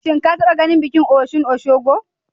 Shin ka taɓa ganin bikin Osun Osogbo?